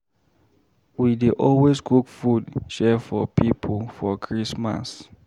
We dey always cook food share for pipo for Christmas.